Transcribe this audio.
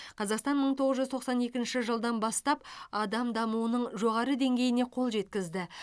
қазақстан мың тоғыз жүз тоқсан екінші жылдан бастап адам дамуының жоғары деңгейіне қол жеткізді